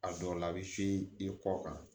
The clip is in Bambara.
A dɔw la a bɛ se i kɔ kan